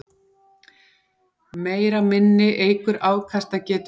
Meira minni eykur afkastagetu tölva.